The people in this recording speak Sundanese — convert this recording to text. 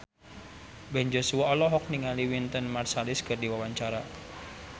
Ben Joshua olohok ningali Wynton Marsalis keur diwawancara